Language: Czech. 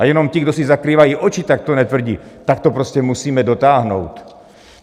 A jenom ti, kdo si zakrývají oči, tak to netvrdí, tak to prostě musíme dotáhnout.